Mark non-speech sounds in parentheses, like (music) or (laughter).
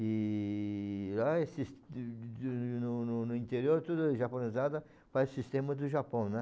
E lá é sis (unintelligible) no no interior tudo japonezada faz sistema do Japão, né?